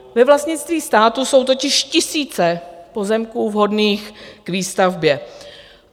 Ve vlastnictví státu jsou totiž tisíce pozemků vhodných k výstavbě.